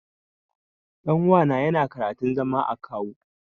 Ɗan uwana yana karantun zama akawu.